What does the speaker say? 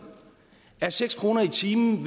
er seks kroner i timen